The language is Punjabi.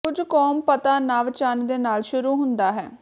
ਕੁਝ ਕੌਮ ਪਤਾ ਨਵ ਚੰਨ ਦੇ ਨਾਲ ਸ਼ੁਰੂ ਹੁੰਦਾ ਹੈ